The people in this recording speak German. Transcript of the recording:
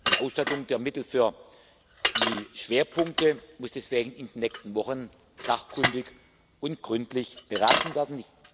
Die Ausstattung der Mittel für die Schwerpunkte muss deswegen in den nächsten Wochen sachkundig und gründlich beraten werden.